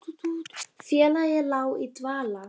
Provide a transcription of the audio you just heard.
Félagið lá í dvala